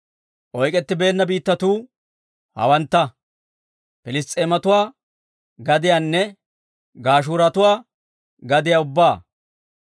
Oyk'k'ettibeenna biittatuu hawantta: Piliss's'eematuwaa gadiyaanne Gashuuratuwaa gadiyaa ubbaa.